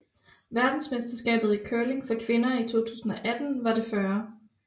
Verdensmesterskabet i curling for kvinder 2018 var det 40